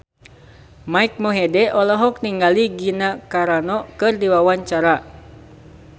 Mike Mohede olohok ningali Gina Carano keur diwawancara